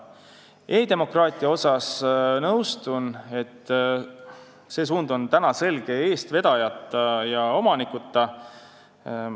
E-demokraatia suhtes nõustun, et see suund on praegu selge eestvedajata ja omanikuta.